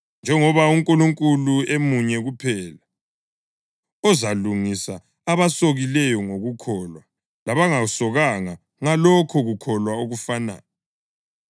njengoba uNkulunkulu emunye kuphela, ozalungisa abasokileyo ngokukholwa labangasokanga ngalokho kukholwa okufanayo.